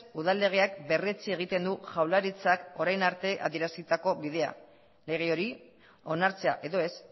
udal legean berretsi egiten du jaurlaritzak orain arte adierazitako bidea lege hori onartzea edo ez